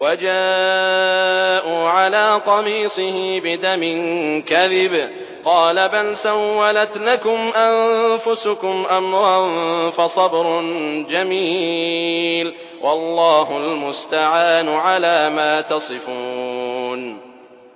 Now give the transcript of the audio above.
وَجَاءُوا عَلَىٰ قَمِيصِهِ بِدَمٍ كَذِبٍ ۚ قَالَ بَلْ سَوَّلَتْ لَكُمْ أَنفُسُكُمْ أَمْرًا ۖ فَصَبْرٌ جَمِيلٌ ۖ وَاللَّهُ الْمُسْتَعَانُ عَلَىٰ مَا تَصِفُونَ